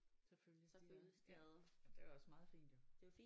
Selvfølgelig de er ja jamen det er jo også meget fint jo